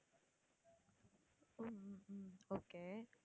ஹம் okay